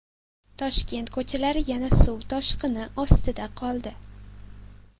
Toshkent ko‘chalari yana suv toshqini ostida qoldi .